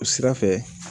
O sira fɛ